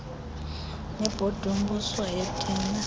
nebhodi yombuso yeethenda